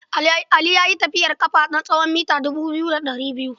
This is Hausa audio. Ali ya yi tafiyar ƙafa na tsawon mita dubu biyu da ɗari biyu.